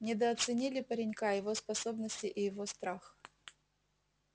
недооценили паренька его способности и его страх